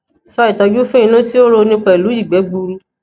so itoju fun inu ti o ro ni pelu igbe gburu